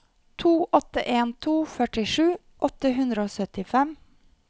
to åtte en to førtisju åtte hundre og syttifem